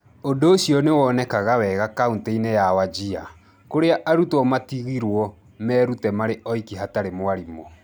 Ũndũ ũcio nĩ wonekaga wega kaunti-inĩ ya Wajir, kũrĩa arutwo maatigĩrũo merute marĩ oiki hatarĩ mwarimũ.